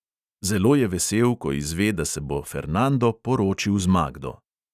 Zelo je vesel, ko izve, da se bo fernando poročil z magdo.